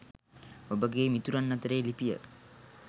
ඔබගේ මිතුරන් අතරේ ලිපිය